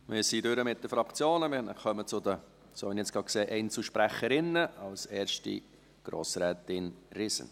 Wir sind mit den Fraktionen durch und kommen zu den Einzelsprecherinnen, als erste Grossrätin Riesen.